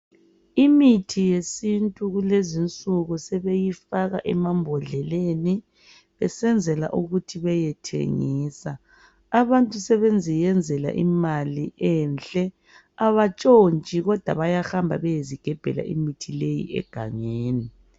Imithi yesintu lezinsuku sebeyifaka emambodleleni besenzela ukuthi beyethengisa abantu sebeziyenzela imali enhle abatshontshi bayahamba beyezigebhela imithi leyi egangeni